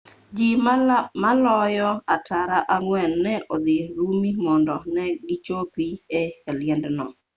ji maloyo tara ang'wen ne odhi rumi mondo ne gichopi e liendno